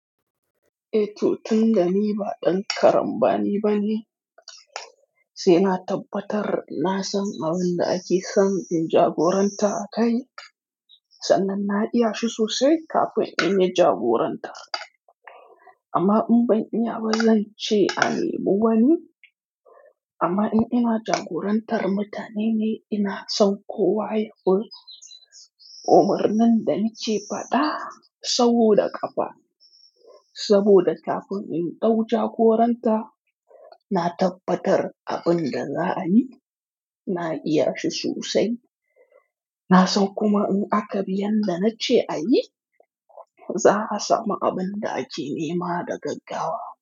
Eh to tun da ni ba ɗan karambani bane, se na tabbatar na san abun da ake son in jagoranta a kai, sannan na iya shi sosai kafin in yi jagoranta. Amma in ban iya ba, zan ce a nemi wani. Amma in ina jagorantar mutane ne, ina son kowa ya koyi umarnin da na ke faɗa stawo da kafa. Saboda kafin in ɗau jagoranta, na tabbatar abin da za a yi, na iya shi sosai. Na san kuma in aka bi yanda na ce a yi, za a samu abin da ake nema da gaggawa.